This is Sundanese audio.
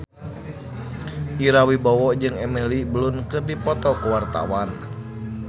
Ira Wibowo jeung Emily Blunt keur dipoto ku wartawan